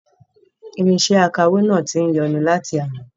Irinṣẹ akawó náà tí ń yọnu láti àná